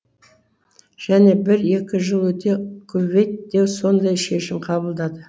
және бір екі жыл өте кувейт те сондай шешім қабылдады